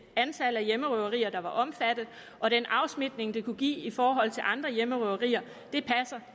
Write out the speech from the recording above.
antal hjemmerøverier der var omfattet og den afsmitning det kunne give i forhold til andre hjemmerøverier